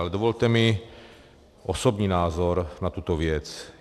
Ale dovolte mi osobní názor na tuto věc.